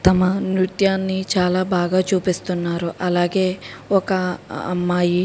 తమ నృత్యాన్ని చాలా బాగా చూపిస్తున్నారు అలాగే ఒక అమ్మాయి --.